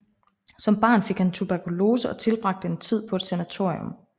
Som barn fik han tuberkulose og tilbragte en tid på et sanatorium